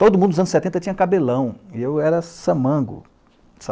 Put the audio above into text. Todo mundo dos anos setenta tinha cabelão, e eu era samango.